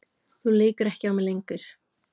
Þú leikur ekki á mig lengur.